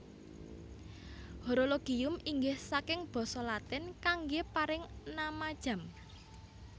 Horologium inggih saking basa Latin kanggé paring nama jam